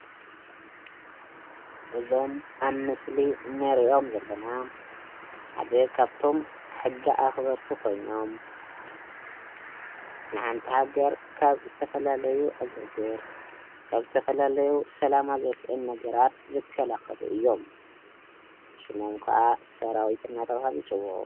እዞም ኣብ ምስሊ እንሪኦም ዘለና ሓደ ካብቶም ሕጊ ኣኸበርቲ ኮይኖም ንሓንቲ ሃገር ካብ ዝተፈላለዩ ዕግርግር ካብ ዝተፈላለዩ ሰላማ ዘስእኑ ነገራት ዝከላኸሉ እዮም፡፡ ሽሞም ክዓ ሰራዊት እናተብሃሉ ይፅውዑ፡፡